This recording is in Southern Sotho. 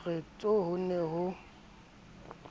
re tsho ho ne ho